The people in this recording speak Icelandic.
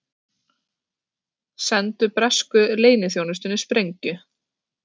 Sendu bresku leyniþjónustunni sprengju